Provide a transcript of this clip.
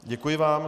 Děkuji vám.